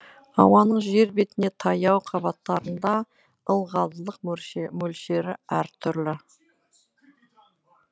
ауаның жер бетіне таяу қабаттарында ылғалдылық мөлшері әр түрлі